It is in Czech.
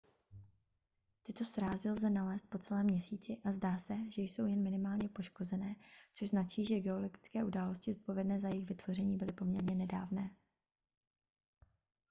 tyto srázy lze nalézt po celém měsíci a zdá se že jsou jen minimálně poškozené což značí že geologické události zodpovědné za jejich vytvoření byly poměrně nedávné